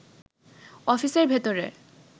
অফিসের ভেতরে